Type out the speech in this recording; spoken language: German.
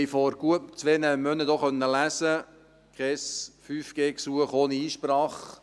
Wir haben vor gut zwei Monaten auch lesen können: kein 5G-Gesuch ohne Einsprache.